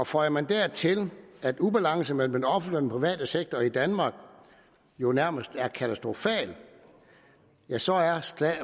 føjer man dertil at ubalancen mellem den offentlige private sektor i danmark jo nærmest er katastrofalt så er